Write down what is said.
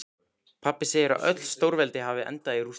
Pabbi segir að öll stórveldi hafi endað í rústum.